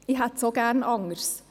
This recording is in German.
Ich hätte es auch gerne anders.